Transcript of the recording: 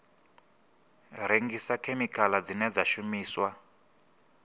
rengisa khemikhala dzine dza shumiswa